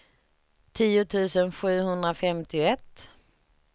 tio tusen sjuhundrafemtioett